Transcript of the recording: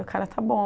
O cara está bom.